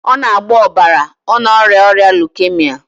Ọ na-agbọ ọbara, ọ na-arịa ọrịa leukemia